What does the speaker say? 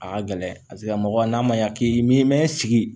A ka gɛlɛn paseke mɔgɔ n'a ma ɲɛ k'i mi mɛn sigi